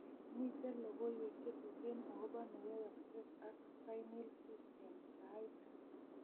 Miten logoywek chetuten akobo neyoiyokse ak pineal cyst eng' saait